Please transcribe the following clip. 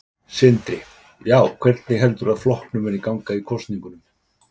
Sindri: Já, hvernig heldurðu að flokknum muni ganga í kosningum?